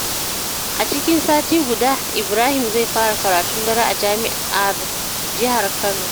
A cikin sati guda, Ibrahim zai fara karatun daren a jami’ar jihar Kano.